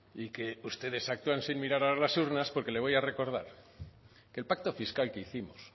y que ustedes actúan sin mirar a las urnas porque le voy a recordar que el pacto fiscal que hicimos